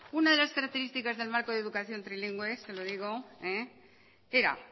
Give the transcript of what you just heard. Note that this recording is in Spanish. una de las características del marco de educación trilingüe es se lo digo era